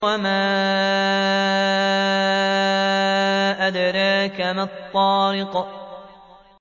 وَمَا أَدْرَاكَ مَا الطَّارِقُ